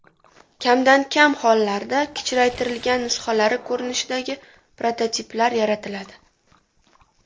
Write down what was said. Kamdan kam hollarda kichraytirilgan nusxalari ko‘rinishidagi prototiplar yaratiladi.